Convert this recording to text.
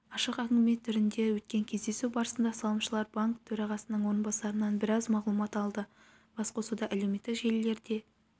ашық әңгіме түрінде өткен кездесу барысында салымшылар банк төрағасының орынбасарынан біраз мағлұмат алды басқосуда әлеуметтік желілерде